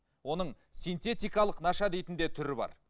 оның синтетиткалық наша дейтін де түрі бар